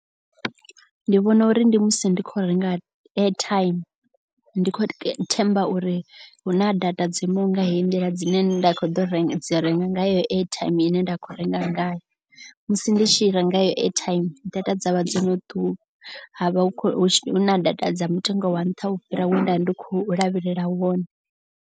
Ndi vhona uri ndi musi ndi kho renga airtime ndi kho themba uri hu na data dzo imaho nga heyi nḓila. Dzine nda kho ḓo renga dzi renga nga airtime ine nda khou renga ngayo. Musi ndi tshi renga airtime data dzavha dzo no ṱuwa ha vha hu na data dza mutengo wa nṱha u fhira we nda vha ndi khou lavhelela wone.